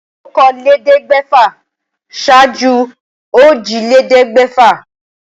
Okòólélẹ́ẹ̀ẹ́dẹ́gbẹ́fà ṣáájú òjìlélẹ́ẹ̀ẹ́dẹ́gbẹ́fà